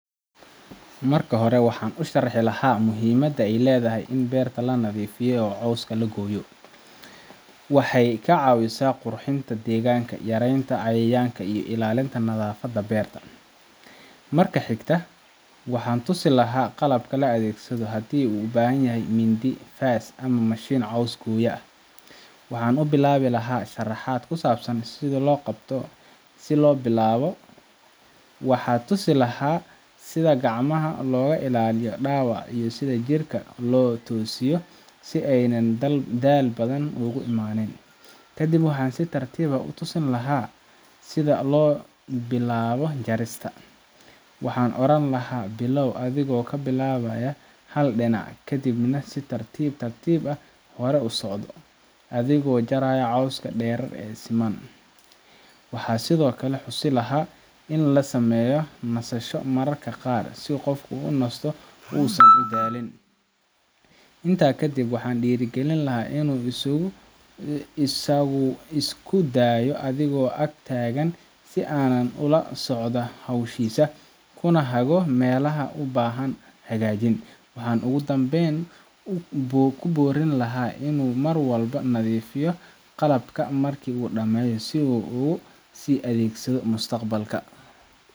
Marka hore waxan u sharxi lahay muhiimaada ee ledahay in beerata lonadhifiyo oo coska laga goya waxee ka cawisa qurxinata deganka iyo ilalinta nadhafaada beerta, marka xigta waxan tusi laha qalabka la adhegsado hadii u ubahan yahay midi fas ama mashin cos lagu goya ah, waxan u qaban laha sharaxaad ku sabsan si lo bilawo waxaa tusi laha sitha gacmaha loga ilaliyo dawaca iyo jirka tosiyo si ee dal badan udamanin, kadiib waxan si tartiib ah u tusin laha sitha lo bilawo jarista waxan oran laha bilaw adhigo ka bilawaya hal dina kadiib nah si tartiib tartiib ah usoconaya adhigo jaraya coska deer oo siman, waxan sithokale bari laha nisasho mararka qaar si qofku unisto, inta kadib waxan bari laha in u isku dayo adhigo agtagan si ana ola socda howshisa unashego melaha ubahan hagajin, waxan ogu danben ogu borin laha in nadhifiyo qalabka si u usi adegsadho mustaqbalka.